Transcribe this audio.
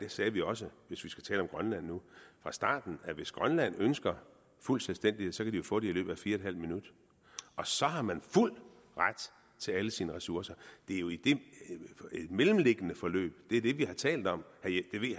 sagde vi også fra starten at hvis grønland ønsker fuld selvstændighed så kan de jo få det i løbet af fire en halv minut og så har man fuld ret til alle sine ressourcer det er jo det mellemliggende forløb vi har talt om